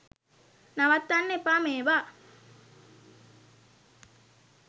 නවත්වන්න එපා මේවා.